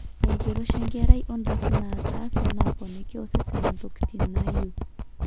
enkiroshi enkerai ondaiki naata afya naaponiki osesen intokitin naayieu